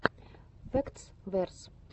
фэктс верс